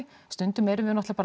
stundum erum við náttúrulega